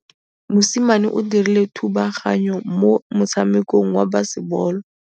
Mosimane o dirile thubaganyô mo motshamekong wa basebôlô.